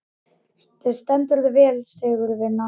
Þú stendur þig vel, Sigurvina!